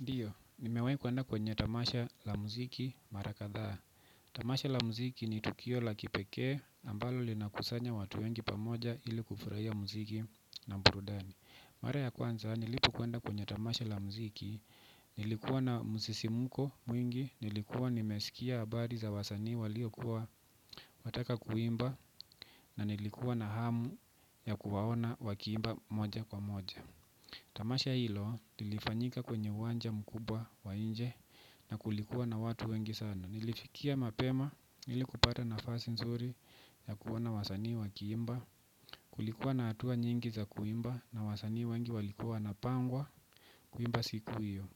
Ndio, nimewahi kwenda kwenye tamasha za muziki mara kadhaa. Tamasha la muziki ni tukio la kipekee ambalo linakusanya watu wengi pamoja ili kufurahia muziki na burudani. Mara ya kwanza, nilipokwenda kwenye tamasha la muziki, nilikuwa na msisimko mwingi, nilikuwa nimesikia habari za wasanii waliokuwa wataka kuimba, na nilikuwa na hamu ya kuwaona wakiimba moja kwa moja. Tamasha hilo lilifanyika kwenye uwanja mkubwa wa nje na kulikuwa na watu wengi sana. Nilifikia mapema ili kupata nafasi nzuri ya kuona wasanii wakliimba. Kulikuwa na hatua nyingi za kuimba na wasani wengi walikuwa wanapangwa kuimba siku hio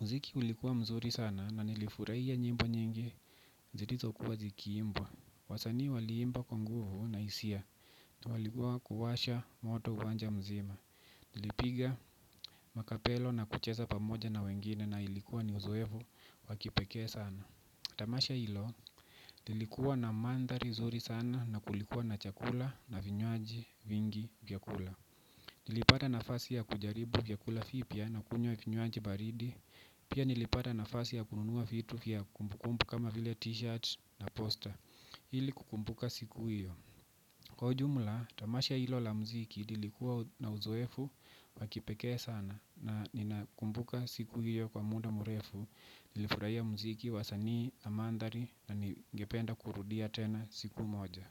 muziki ulikuwa mzuri sana na nilifurahiab nyimbo nyingi zilizokuwa zikiimbwa. Wasani waliimba kwa nguvu na hisia na walikuwa kuwasha moto uwanja mzima. Nilipiga makapelo na kucheza pamoja na wengine na ilikuwa ni uzoefu wakipekee sana. Tamasha hilo, nilikuwa na mandhari zuri sana na kulikuwa na chakula na vinywaji vingi vya kula. Nilipata nafasi ya kujaribu vyakula vipya na kunywa vinywaji baridi. Pia nilipata nafasi ya kununua vitu vya kumbu kumbu kama vile t-shirt na poster ili kukumbuka siku hio. Kwa ujumla, tamasha hilo la muziki lilikuwa na uzoefu wakipekee sana, na nina kumbuka siku hio kwa muda mrefu, nilifurahia muziki, wasanii na mandhari na ningependa kurudia tena siku moja.